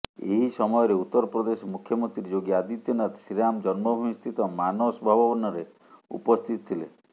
ଏହି ସମୟରେ ଉତ୍ତରପ୍ରଦେଶ ମୁଖ୍ୟମନ୍ତ୍ରୀ ଯୋଗୀ ଆଦିତ୍ୟନାଥ ଶ୍ରୀରାମ ଜନ୍ମଭୂମି ସ୍ଥିତ ମାନସ ଭବନରେ ଉପସ୍ଥିତ ଥିଲେ